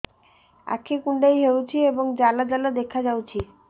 ଆଖି କୁଣ୍ଡେଇ ହେଉଛି ଏବଂ ଜାଲ ଜାଲ ଦେଖାଯାଉଛି